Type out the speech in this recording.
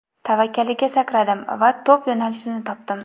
Tavakkaliga sakradim va to‘p yo‘nalishini topdim.